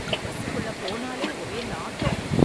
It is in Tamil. பஸ் குள்ள போனாலே ஒரே நாத்தம்.